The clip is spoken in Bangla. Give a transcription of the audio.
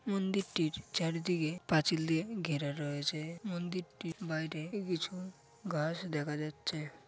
মন্দিরটির চারিদিকে পাঁচিল দিয়ে ঘেরা রয়েছে মন্দিরটির বাইরে কিছু গাছ দেখা যাচ্ছে ।